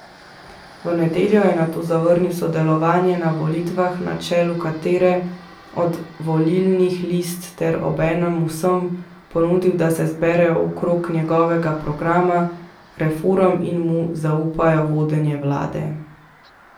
V nedeljo je nato zavrnil sodelovanje na volitvah na čelu katere od volilnih list ter obenem vsem ponudil, da se zberejo okrog njegovega programa reform in mu zaupajo vodenje vlade.